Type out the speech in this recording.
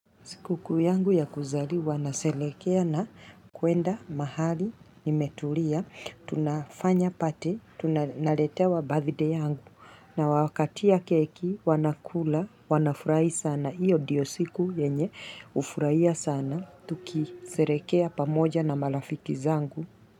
Sikukuu yangu ya kuzaliwa nasherehekea na kuenda mahali nimetulia. Tunafanya party, naletea wa birthday yangu. Nawakatia keki wanakula, wanafurahi sana. Hjyo ndiyo siku yenye hufurahia sana. Tukisherekea pamoja na marafiki zangu.